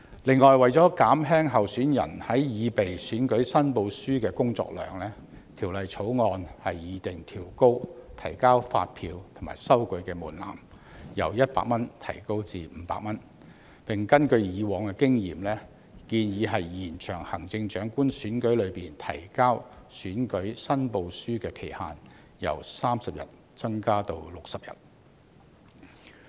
此外，為減輕候選人在擬備選舉申報書的工作量，《條例草案》擬訂調高提交發票及收據的門檻，由100元提高至500元，並根據過往經驗，建議延長行政長官選舉中提交選舉申報書的期限，由30天增至60天。